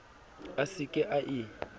a se ke a e